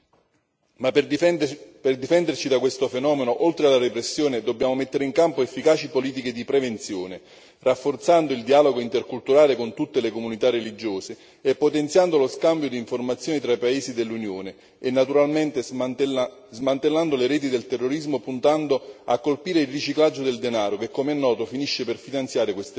Ma, per difenderci da questo fenomeno, oltre alla repressione dobbiamo mettere in campo efficaci politiche di prevenzione, rafforzando il dialogo interculturale con tutte le comunità religiose, potenziando lo scambio di informazioni tra i paesi dell'Unione e naturalmente smantellando le reti del terrorismo, puntando a colpire il riciclaggio del denaro che, come è noto, finisce per finanziare queste reti.